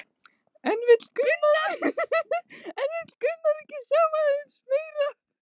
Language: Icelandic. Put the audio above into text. En vill maður ekki sjá aðeins meira?